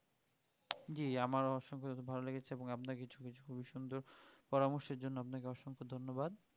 জি আমারও অসংখ্য খুবই ভালোই লেগেছে এবং আপনাকে কিছু কিছু খুবই সুন্দর পরামর্শের জন্য আপনাকে অসংখ্য ধন্যবাদ.